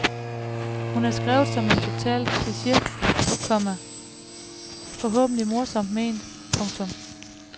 Hun er skrevet som en total kliche, komma forhåbentlig morsomt ment. punktum